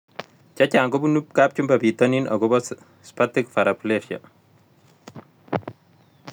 Chechang' kopunu kapchumba pitonin akopo Spastic paraplegia